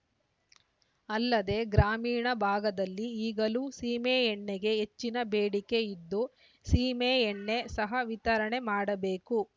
ಅಲ್ಲದೆ ಗ್ರಾಮೀಣ ಭಾಗದಲ್ಲಿ ಈಗಲೂ ಸೀಮೆಎಣ್ಣೆಗೆ ಹೆಚ್ಚಿನ ಬೇಡಿಕೆ ಇದ್ದು ಸೀಮೆಎಣ್ಣೆ ಸಹ ವಿತರಣೆ ಮಾಡಬೇಕು